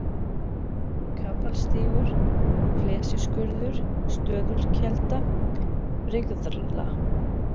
Kapalstígur, Flesjuskurður, Stöðulkelda, Brigðla